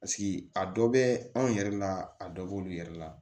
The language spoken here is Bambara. a dɔ bɛ anw yɛrɛ la a dɔ b'olu yɛrɛ la